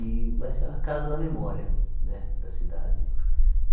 E vai ser a casa da memória né da cidade.